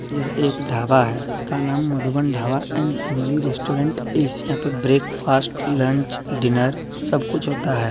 यह एक ढाबा है जिसका नाम Madhuban Dhaba and family restaurant यहां पर ब्रेकफास्ट लंच डिनर सब कुछ होता है।